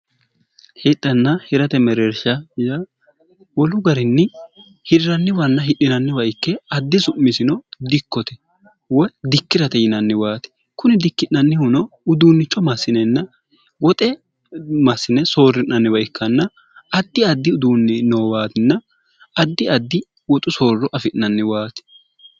hixhanna hirate mereersha y wolu garinni hirranniwanna hidhinanniwa ikke addi su'misino dikkote woy dikki'rate yinanniwaati kuni dikki'nannihuno uduunnicho massinenna woxe massine soorri'nanniwa ikkanna addi addi uduunni noowaatinna addi addi woxu soorro afi'nanniwaati